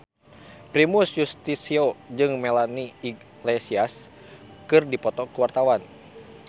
Primus Yustisio jeung Melanie Iglesias keur dipoto ku wartawan